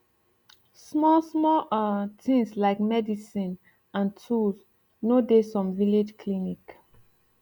small small um tins lyk medicin and tools no dey some village clinic